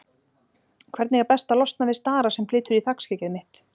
Hvernig er best að losna við stara sem flytur í þakskeggið mitt?